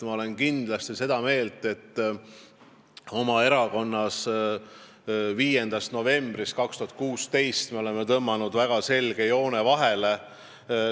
Ma olen kindlasti seda meelt, et me oleme oma erakonnas 5. novembrist 2016 vahele tõmmanud väga selge joone.